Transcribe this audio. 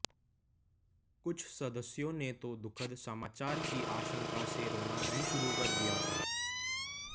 कुछ सदस्यों ने तो दुखद समाचार की आशंका से रोना भी शुरू कर दिया था